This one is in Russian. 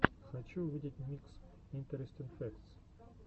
хочу увидеть микс интерестин фэктс